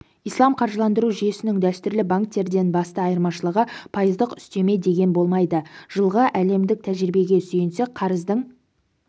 ислам қаржыландыру жүйесінің дәстүрлі банктерден басты айырмашылығы пайыздық үстеме деген болмайды жылғы әлемдік тәжірибеге сүйенсек қарыздың